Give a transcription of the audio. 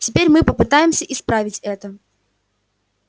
теперь мы попытаемся исправить это